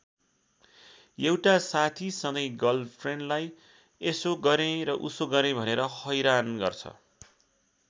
एउटा साथी सधैँ गर्लफ्रेन्डलाई यसो गरेँ र उसो गरेँ भनेर हैरान गर्छ।